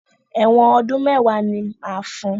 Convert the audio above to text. Ẹ̀wọ́n ọdú́n mẹ́wàá ni máa fun.